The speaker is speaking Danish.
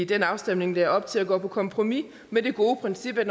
den afstemning lagde op til at gå på kompromis med det gode princip at